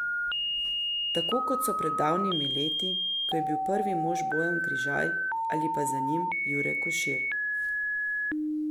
Tako kot so pred davnimi leti, ko je bil prvi mož Bojan Križaj, ali pa za njim Jure Košir.